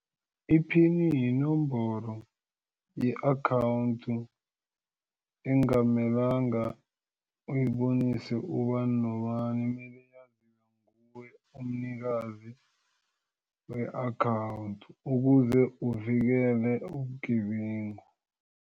Iphini yinomboro ye-akhawundi engamelanga uyibonise ubani nobani kumele yaziwe nguwe umnikazi we-akhawundi ukuze uvikele ubugebengu.